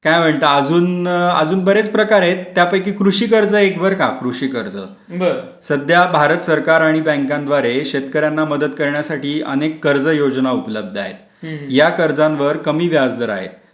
काय म्हणता अजून बरेच प्रकार आहेत त्यापैकी कृषी कर्ज एक बर का कृषी कर्ज सध्या भारत सरकार आणि बँकांद्वारे शेतकऱ्यांना मदत करण्यासाठी अनेक कर्ज योजना उपलब्ध आहेत या कर्जांवर कमी व्याजदर आहे .